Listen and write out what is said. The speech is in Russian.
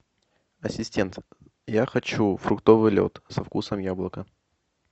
ассистент я хочу фруктовый лед со вкусом яблока